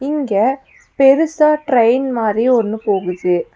இங்க பெருசா ட்ரெயின் மாரி ஒன்னு போகுது.